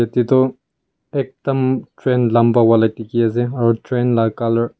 te du ekdum train lamba wala dikhi asey aro train la colour.